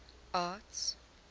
arts